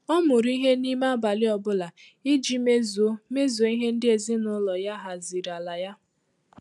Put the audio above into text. Ọ́ mụrụ ìhè n’ímé ábàlị̀ ọ bụ́lá ìjí mézùó mézùó ìhè ndị́ èzínụ́lọ yá haziri la yá.